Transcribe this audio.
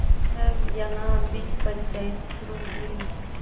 तब यहाँ भी पंचायत शुरू हुई